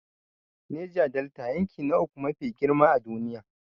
Neja Delta, yanki na uku mafi girma a duniya.